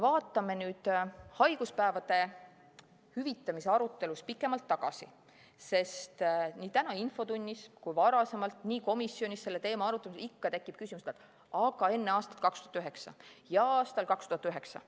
Vaatame nüüd haiguspäevade hüvitamise arutelus pikemalt tagasi, sest nii täna infotunnis kui ka varasemalt komisjonis selle teema arutelul on ikka tekkinud küsimus, kuidas oli enne aastat 2009 ja aastal 2009.